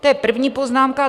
To je první poznámka.